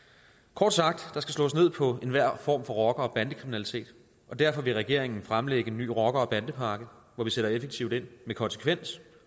kort sagt der skal slås ned på enhver form for rocker og bandekriminalitet og derfor vil regeringen fremlægge en ny rocker bande pakke hvor vi sætter effektivt ind med konsekvens